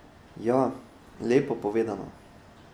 Ja, lepo povedano.